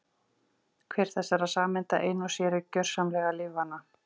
Hver þessara sameinda ein og sér er gjörsamlega lífvana.